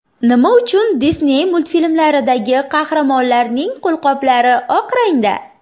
Nima uchun Disney multfilmlaridagi qahramonlarning qo‘lqoplari oq rangda?